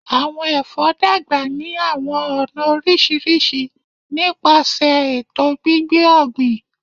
Awọn èfó dàgbà ni àwọn ọna orísirísi nípasẹ ètò gbígbé ògbìn